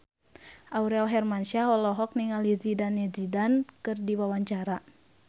Aurel Hermansyah olohok ningali Zidane Zidane keur diwawancara